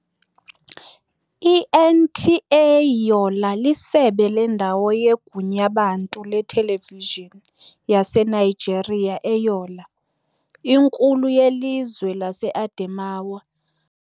I-NTA Yola lisebe lendawo yeGunyabantu leTelevishini yaseNigeria eYola, inkulu yelizwe laseAdemawa.